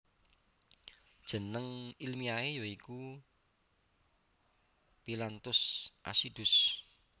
Jeneng ilmiahe ya iku Phyllanthus acidus